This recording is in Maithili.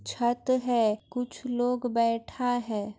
छत है कुछ लोग बैठा है।